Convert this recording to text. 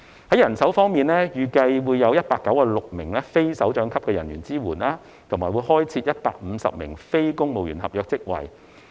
在人手方面，預計有196名非首長級人員支援，以及開設150個非公務員合約職位。